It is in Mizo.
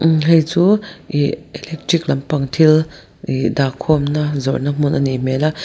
imm helai chu ih electric lampang thil ih dahkhawm na zawrhna hmun anih hmel a.